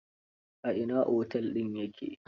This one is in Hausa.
A ina otel din ya ke?